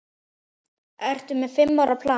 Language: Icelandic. Ertu með fimm ára plan?